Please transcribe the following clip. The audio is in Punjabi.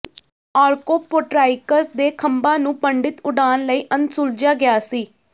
ਆਰਕੋਪੋਟਰਾਈਕਸ ਦੇ ਖੰਭਾਂ ਨੂੰ ਪੰਡਿਤ ਉਡਾਣ ਲਈ ਅਣਸੁਲਝਿਆ ਗਿਆ ਸੀ